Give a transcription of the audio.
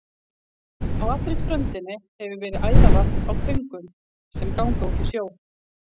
Á allri ströndinni hefur verið æðarvarp á töngum, sem ganga út í sjó.